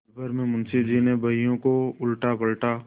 पलभर में मुंशी जी ने बहियों को उलटापलटा